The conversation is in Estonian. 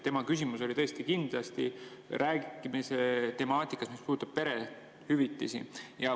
Tema küsimus oli tõesti kindlasti temaatika kohta, mis puudutab perehüvitisi.